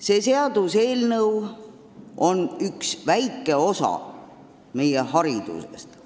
See seaduseelnõu tegeleb ühe väikese osaga meie haridusest.